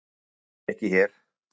Það get ég ekki hér.